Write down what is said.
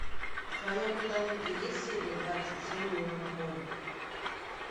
в твоем каталоге есть серия двадцать семь меланхолик